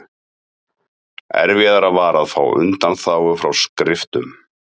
Erfiðara var að fá undanþágu frá skriftum.